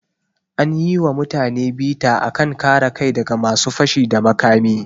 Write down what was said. An yi wa mutane bita a kan kare kai da ga masu fashi da makami.